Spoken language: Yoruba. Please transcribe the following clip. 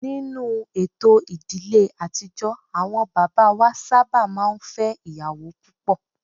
Ninu eto ìdílé àtijọ́ àwọn bàbá wa sábà máa ń fẹ́ ìyàwó púpọ̀